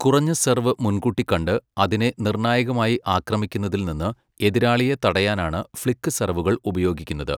കുറഞ്ഞ സെർവ് മുൻകൂട്ടി കണ്ട്, അതിനെ നിർണായകമായി ആക്രമിക്കുന്നതിൽ നിന്ന്, എതിരാളിയെ തടയാനാണ് ഫ്ലിക്ക് സെർവുകൾ ഉപയോഗിക്കുന്നത്.